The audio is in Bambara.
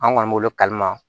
An kɔni b'olu kalama